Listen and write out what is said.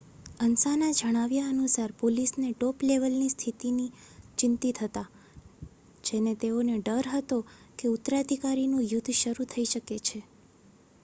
"અન્સાના જણાવ્યા અનુસાર "પોલીસને ટોપલેવલની સ્થિતિથી ચિંતિત હતા જેને તેઓને ડર હતો કે ઉત્તરાધિકારનું યુદ્ધ શરૂ થઈ શકે છે.